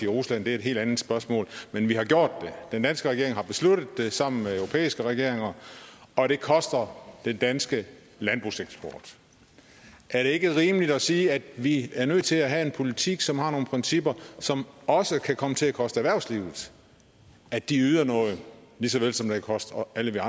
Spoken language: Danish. rusland det er et helt andet spørgsmål men vi har gjort det den danske regering har besluttet det sammen med europæiske regeringer og det koster den danske landbrugseksport er det ikke rimeligt at sige at vi er nødt til at have en politik som har nogle principper som også kan komme til at koste erhvervslivet at de yder noget lige såvel som det koster alle